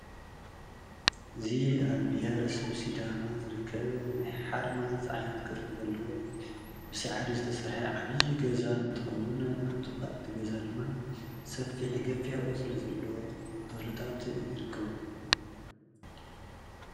እዙይ ኣብ ብሂረሰብ ሲዳማ ዘርከብ ናይ ሓርማዝ ዓይነት ቅርፂ ዘለዎ ብሰዓዱ ዘተሥርሐ ዓብዪዪ ገዛ እንተኸዉን ኣብ ጥቃ እቲ ገዛ ድማ ሰፊሕ ገፊሕ ቆፅሊ ዘለዎ ተክልታት ይርከቡ።